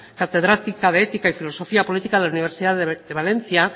catedrática de ética y filosofía política de la universidad de valencia